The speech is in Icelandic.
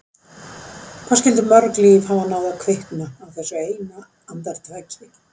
Hvað skyldu mörg líf hafa náð að kvikna á þessu eina andartaki?